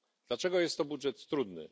Dlaczego jest to budżet trudny?